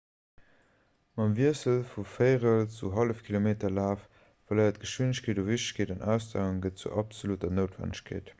mam wiessel vum véierel zum hallefkilometerlaf verléiert geschwindegkeet u wichtegkeet an ausdauer gëtt zur absolutter noutwennegkeet